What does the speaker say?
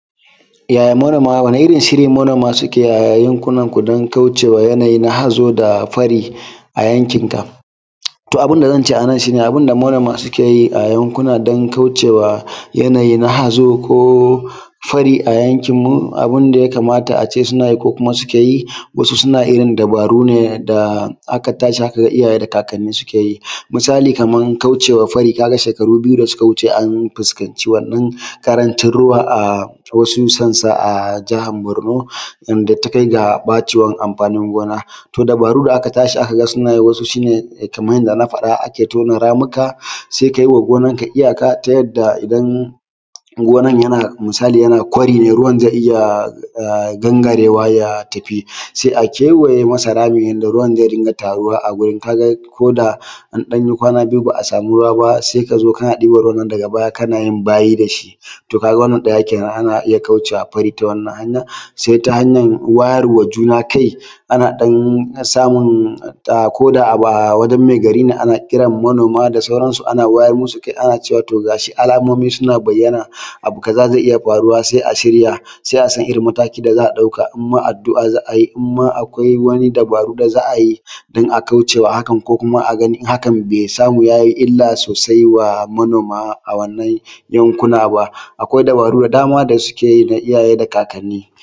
ya manoma wane irin shiri manoma suke a yankunan ku don kauce ma yanayi na hazo da fari a yankin ka to abun da zance a nan shine a bun da manoma suke a yankuna don kaucewa yanayi na hazo ko fari a yankin mu abun da ya kamata a ce suna yi ko kuma suke yi wasu suna irin dabaru ne da aka tashi aka ga iyaye da kakanni ke yi misali kaman kauce ma fari ka ga shekaru biyu da suka wuce an fuskan ci wannan ƙarancin ruwa a wasu sassa a nan jihar borno wadda takai ga ɓacewar amfanin gona to dabaru da aka tashi aka ga suna yi waɗansu shine kamar yanda na faɗa ake tona ramuka sai ka yi ma gonarka iyaka ta yadda idan gonar yana misali yana kwari ne ruwan zai iya gangarewa ya tafi sai a kewaye masa rami yanda ruwan zai iya taruwa a gurun ka ga koda an ɗan yi kwana biyu ba a samu ruwa ba sai ka zo kana ɗiban ruwan nan daga baya kana yin bayi da shi to ka ga wannan ɗaya kenan ana iya kauce wa fari ta wannan hanyar sai hanyar wayar wa juna kai ana ɗan samun ko da wajen mai gari ne a na kiran manoma da sauransu a na wayar masu kai ana cewa to ga shi alamomi suna bayyana abu kaza zai iya faruwa sai a shirya sai a san irin matakin da za a ɗauka in na addu’a za a yi in ma akwai wani dabaru da za a yi don a kauce ma haka ko kuma a gani hakan bai samu yayi illa sosai wa manoma a wannan yankuna ba akwai dabaru da dama da suke yi na iyaye da kakanni